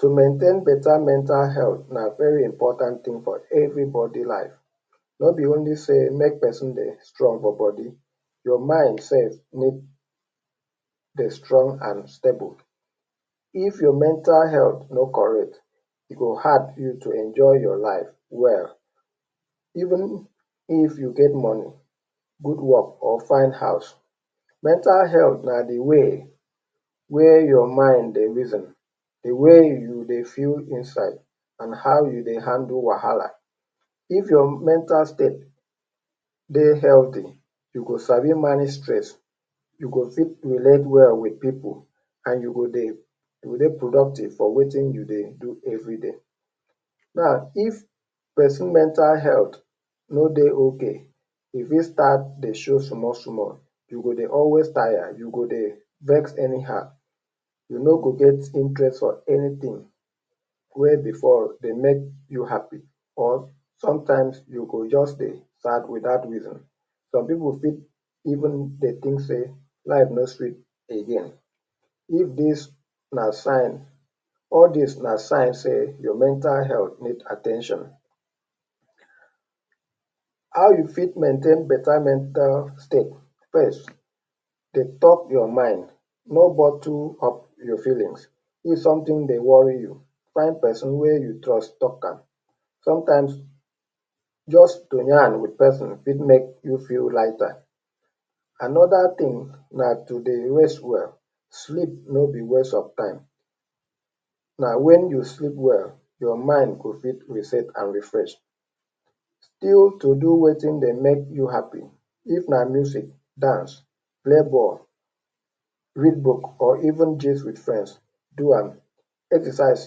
To maintain better mental health na very important thing for everybody life. No be only say make pesin dey strong for body. Your mind sef need dey strong and stable. If your mental health no correct, e go hard you to enjoy your life well. Even if you get money, good work or fine house. Mental health na the way wey your mind dey reason. The way you dey feel inside and how you dey handle wahala. If your mental state dey healthy, you go sabi manage stress. You go fit relate well with pipu and you go dey, dey productive for wetin you dey do everyday. Infact, if pesin mental health no dey okay, e fit start dey show small, small. You go dey always tire, you go dey vex anyhow. You no go get interest for anything wey before dey make you happy. Sometimes you go just dey sad without reason. Some pipu even dey think say life no sweet again. If dis na sign, all dis na sign say your mental health need at ten tion. How you fit maintain better mental state. First, dey talk your mind, no bottle your feelings. If something dey worry you, find pesin wey you trust talk am. Sometimes, just to yan with pesin fit make you lighter. Another thing, na to dey rest well. Sleep no be waste of time. Na when you sleep well, your mind go fit reset and refresh. Still to do wetin dey make you happy. If na movie, dance, play ball, read book, or even gist with friends, do am. Exercise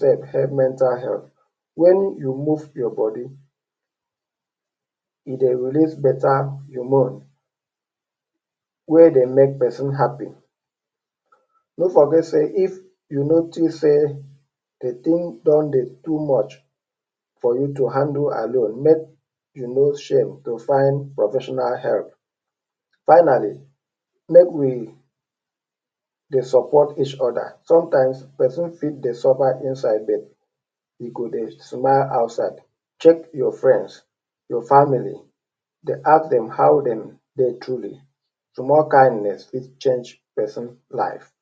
sef, help mental health. When you move your body, you dey release better hormone wey dey make pesin happy. No forget say, if you notice say, the thing don dey too much for you to handle alone make you no shame to find professional help. Finally, make we dey support each other, sometimes pesin fit dey suffer inside but, e go dey smile outside. Check your friends, your families. they ask dem how dem dey truly, small kindness fit change pesin life.